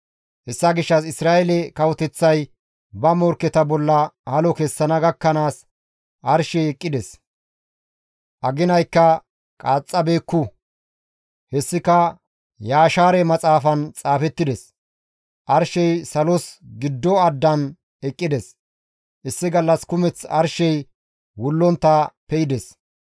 Hessa gishshas Isra7eele kawoteththay ba morkketa bolla halo kessana gakkanaas arshey eqqides. Aginaykka qaaxxabeekku. Hessika Yashaare Maxaafan xaafettides; arshey salos giddo addan eqqides; issi gallas kumeth arshey wullontta pe7ides.